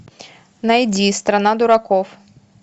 найди страна дураков